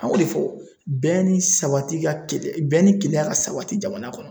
An y'o de fɔ bɛɛ ni sabati ka bɛn ni keleya ka sabati jamana kɔnɔ.